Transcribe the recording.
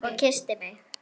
Og kyssti mig.